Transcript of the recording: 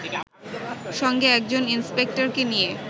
সঙ্গে একজন ইন্সপেক্টরকে নিয়ে